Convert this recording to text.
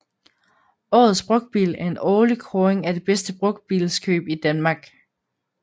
Årets Brugtbil er en årlig kåring af det bedste brugtbilskøb i Danmark